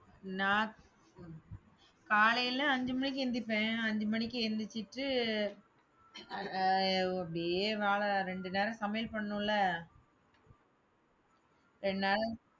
நான் காலையில அஞ்சு மணிக்கு எந்திரிப்பேன், அஞ்சு மணிக்கு எந்திரிச்சுட்டு ஆஹ் அப்படியே வேலை ரெண்டு நேரம் சமையல் பண்ணணும் இல்ல ரெண்டு நேரம்